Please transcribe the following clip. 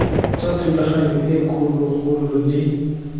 tsa thulaganyo e kgologolo le